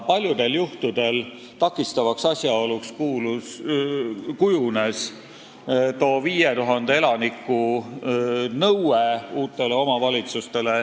Paljudel juhtudel kujunes takistavaks asjaoluks 5000 elaniku nõue.